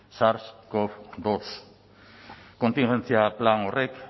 sars cov bi kontingentzia plan horrek